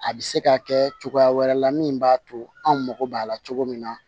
A bɛ se ka kɛ cogoya wɛrɛ la min b'a to an mago b'a la cogo min na